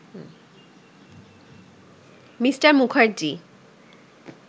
Me. Mukherjee